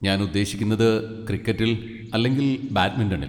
ഞാൻ ഉദ്ദേശിക്കുന്നത് ക്രിക്കറ്റിൽ, അല്ലെങ്കിൽ ബാഡ്മിന്റണിൽ.